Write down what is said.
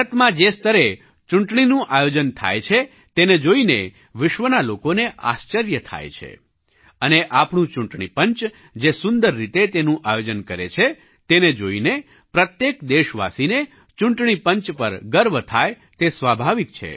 ભારતમાં જે સ્તરે ચૂંટણીનું આયોજન થાય છે તેને જોઈને વિશ્વના લોકોને આશ્ચર્ય થાય છે અને આપણું ચૂંટણી પંચ જે સુંદર રીતે તેનું આયોજન કરે છે તેને જોઈને પ્રત્યેક દેશવાસીને ચૂંટણી પંચ પર ગર્વ થાય તે સ્વાભાવિક છે